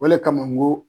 O le kama n ko